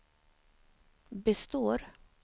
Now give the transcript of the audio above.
består